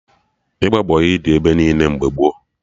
Ịgba bọyị dị ebe niile mgbe gboo